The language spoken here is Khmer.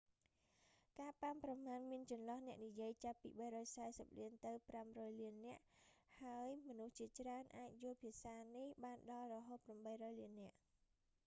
ការប៉ាន់ប្រមាណមានចន្លោះអ្នកនិយាយចាប់ពី 340 លានទៅ 500 លាននាក់ ហើយមនុស្សជាច្រើនអាចយល់ភាសានេះបានដល់រហូត 800 លាននាក់